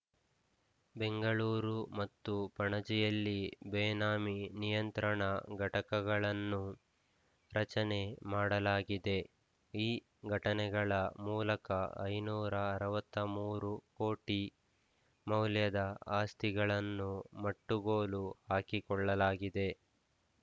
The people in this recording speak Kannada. ಬೆಂಗಳೂರು ಮತ್ತು ಪಣಜಿಯಲ್ಲಿ ಬೇನಾಮಿ ನಿಯಂತ್ರಣ ಘಟಕಗಳನ್ನು ರಚನೆ ಮಾಡಲಾಗಿದೆ ಈ ಘಟಕಗಳ ಮೂಲಕ ಐದುನೂರ ಅರವತ್ತ ಮೂರು ಕೋಟಿ ಮೌಲ್ಯದ ಆಸ್ತಿಗಳನ್ನು ಮಟ್ಟುಗೋಲು ಹಾಕಿಕೊಳ್ಳಲಾಗಿದೆ